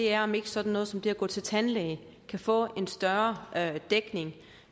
er om ikke sådan noget som det at gå til tandlæge kan få en større dækning